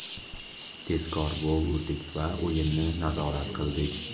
Tezkor gol urdik va o‘yinni nazorat qildik.